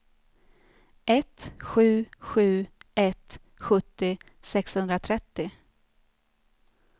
ett sju sju ett sjuttio sexhundratrettio